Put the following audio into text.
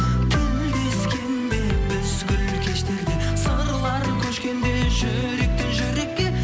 тілдескенде біз гүл кештерде сырлар көшкенде жүректен жүрекке